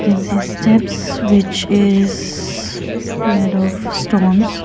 and see steps which is made of stones.